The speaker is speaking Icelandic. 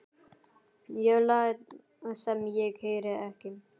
Ég læt sem ég heyri ekki.